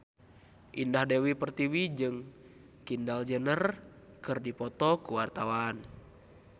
Indah Dewi Pertiwi jeung Kendall Jenner keur dipoto ku wartawan